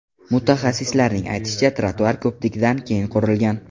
Mutaxassislarning aytishicha, ‘trotuar’ ko‘prikdan keyin qurilgan.